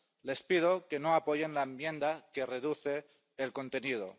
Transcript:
Les pido que no apoyen la enmienda que reduce el contenido.